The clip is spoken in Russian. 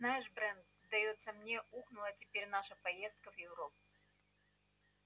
знаешь брент сдаётся мне ухнула теперь наша поездка в европу